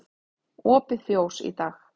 Opið fjós í dag